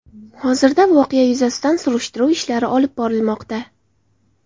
Hozirda voqea yuzasidan surishtiruv ishlari olib borilmoqda.